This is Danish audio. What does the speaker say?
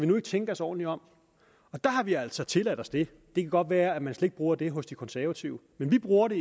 nu ikke tænke os ordentligt om og der har vi altså faktisk tilladt os det det kan godt være at man slet ikke bruger det hos de konservative men vi bruger det